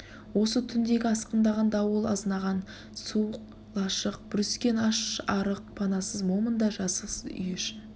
осы түндегі асқындаған дауыл азынаған суық лашық бүріскен аш-арық панасыз момын да жазықсыз үй іші